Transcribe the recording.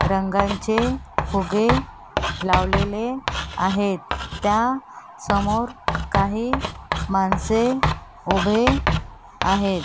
रंगांचे फुगे लावलेले आहेत त्या समोर काही माणसे उभे आहेत.